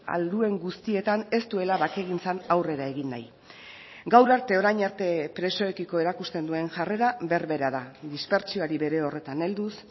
ahal duen guztietan ez duela bakegintzan aurrera egin nahi gaur arte orain arte presoekiko erakusten duen jarrera berbera da dispertsioari bere horretan helduz